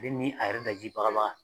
ni a yɛrɛ daji baga baga.